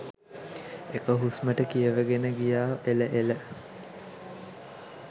එක හුස්මටම කියවගෙන ගියා එල එල